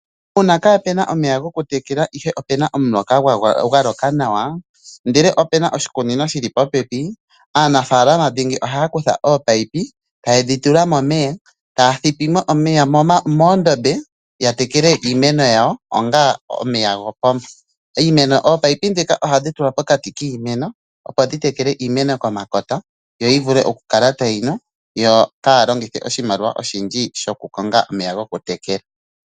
Uuna kaapuna omeya gokutekela ihe opuna omuloka gwa loka nawa ndele opena oshikunino shili popepi, aanafalama dhingi ohaya kutha ominino taye dhi tula momeya, taya thipi mo omeya moondombe ya tekele iimeno yawo onga omeya gopomba. Ominino dhika ohadhi tulwa pokati kiimeno opo dhi tekele iimeno pomakota, yo yi vule okukala tayi nu yo kaya konge oshimaliwa oshindji shokukonga omeya gokutekela.